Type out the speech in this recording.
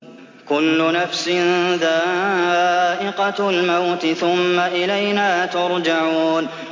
كُلُّ نَفْسٍ ذَائِقَةُ الْمَوْتِ ۖ ثُمَّ إِلَيْنَا تُرْجَعُونَ